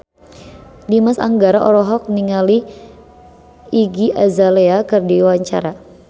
Dimas Anggara olohok ningali Iggy Azalea keur diwawancara